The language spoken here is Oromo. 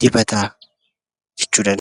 dibataa jechuu dandeenya.